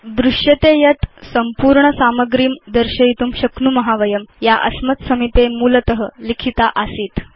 वयं पश्याम यत् अधुना वयं संपूर्ण सामग्रीं दर्शयितुं शक्नुम या अस्मत् समीपे मूलत लिखिता आसीत्